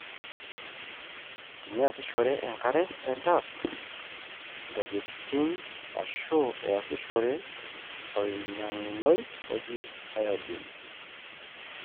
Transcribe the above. teniasishore enkare entap, ntokitokie ashu easishore olnganayioi oji iodine